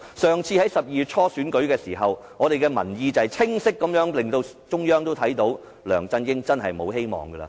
上次在12月初選舉時，民意清晰令中央看到，梁振英真無希望了。